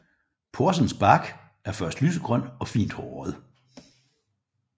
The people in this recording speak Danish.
Porsens bark er først lysegrøn og fint håret